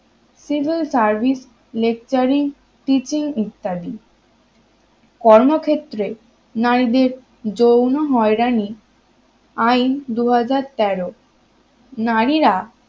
civil service lecturing teaching ইত্যাদি কর্মক্ষেত্রে নারীদের যৌন হয়রানি আইন দু হাজার তেরো নারীরা